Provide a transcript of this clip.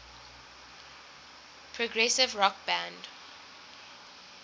progressive rock band